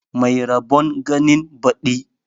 Mai rabon ganin baɗi